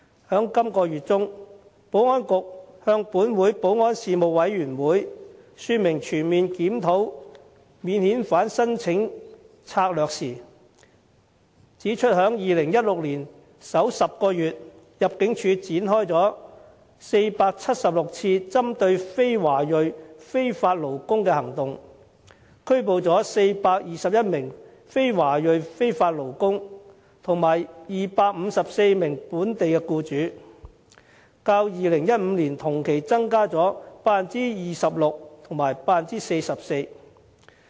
在本月中，保安局向本會保安事務委員會說明全面檢討免遣返聲請策略時指出，在2016年首10個月，入境處展開了476次針對非華裔非法勞工的行動，拘捕了421名非華裔非法勞工及254名本地僱主，較2015年同期增加了 26% 及 44%。